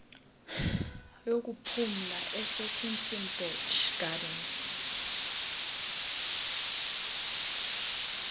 yokuphumla esekirstenbosch gardens